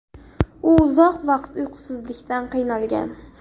U uzoq vaqt uyqusizlikdan qiynalgan.